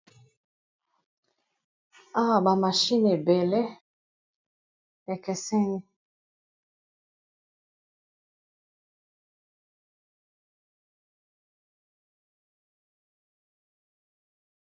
Awa ba machine ebele ekeseni.